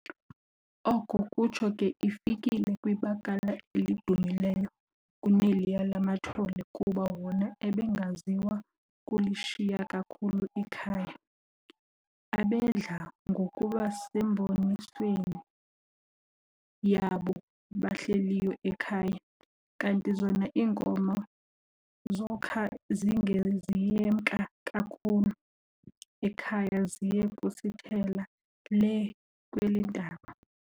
Oko kutsho ke ifikele kwibakala elidumileyo kuneliya lamathole, kuba wona abengaziwa kulishiya kakhulu ikhaya, abedla ngokuba sembonisweni yaabo bahleliyo ekhaya, kanti zona iinkomo zokha zinge ziyemka kakhulu ekhaya ziye kusithela lee kweleentaba.